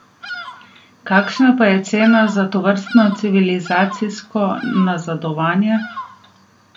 Kakšna pa je cena za tovrstno civilizacijsko nazadovanje?